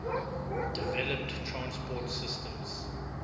developed transport systems